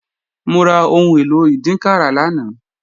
Mo ra ohun èlò ìdínkàrà lánàá